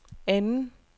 anden